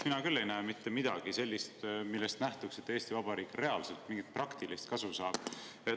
Mina küll ei näe selles mitte midagi sellist, millest nähtuks, et Eesti Vabariik reaalselt mingit praktilist kasu saab.